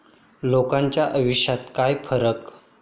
लोकांच्या आयुष्यात काय फरक?